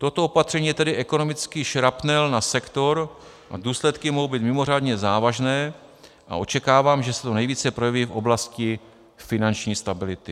Toto opatření je tedy ekonomický šrapnel na sektor a důsledky mohou být mimořádně závažné a očekávám, že se to nejvíce projeví v oblasti finanční stability.